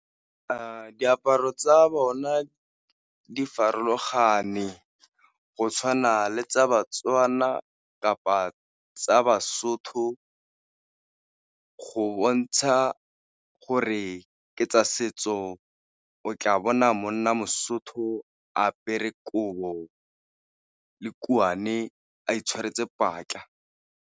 Diaparo tsa bona di farologane go tshwana le tsa ba-Tswana kapa tsa ba-Sotho, go bontsha gore ke tsa setso o tla bona monna mo-Sotho a apere kobo le kuane a itshwaretse .